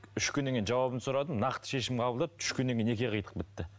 үш күннен кейін жауабын сұрадым нақты шешім қабылдады үш күннен кейін неке қидық бітті